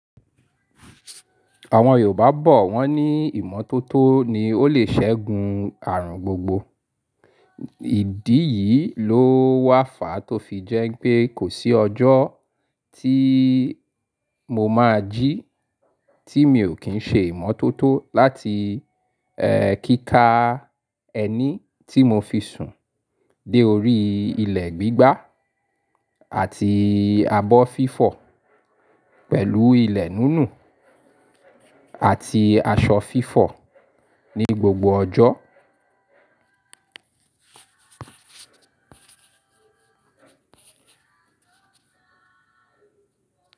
Awon yoruba bo won ni "imototo ni o le segun arun gbogbo". Ìdí yìí ló wà fà tó fi jẹ́ pé kò sí ọjọ́ tí mo máa jí tí mi ò kín ṣe ìmọ́tótó láti, kíka ẹni tí mo fi sùn dé orí ilẹ̀ gbígbá àti abọ́ fífọ̀ pẹ̀lú ilẹ̀ nínú àti aṣọ fífọ̀ ní gbogbo ọjọ́.